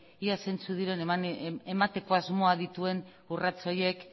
ia zeintzuk diren emateko asmoa dituen urrats horiek